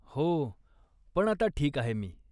हो, पण आता ठीक आहे मी.